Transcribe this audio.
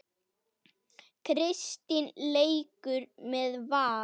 Kristín leikur með Val.